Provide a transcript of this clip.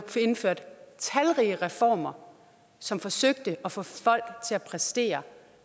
indført talrige reformer som forsøgte at få folk til at præstere